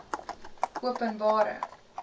openbare